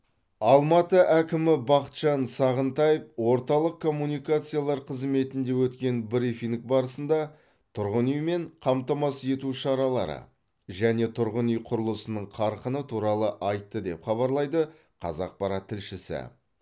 алматы әкімі бақытжан сағынтаев орталық коммуникациялар қызметінде өткен брифинг барысында тұрғын үймен қамтамасыз ету шаралары және тұрғын үй құрылысының қарқыны туралы айтты деп хабарлайды қазақпарат тілшісі